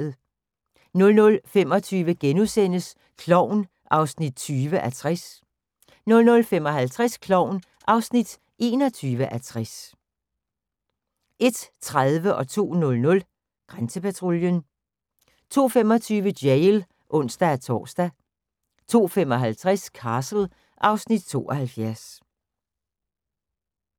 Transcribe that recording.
00:25: Klovn (20:60)* 00:55: Klovn (21:60) 01:30: Grænsepatruljen 02:00: Grænsepatruljen 02:25: Jail (ons-tor) 02:55: Castle (Afs. 72)